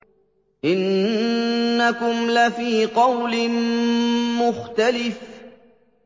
إِنَّكُمْ لَفِي قَوْلٍ مُّخْتَلِفٍ